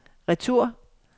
retur